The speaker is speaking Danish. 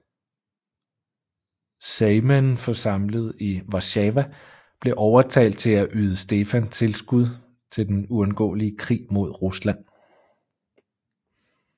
Sejmen forsamlet i Warszawa blev overtalt til at yde Stefan tilskud til den uundgåelige krig mod Rusland